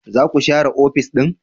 Za ku share ofis din ne?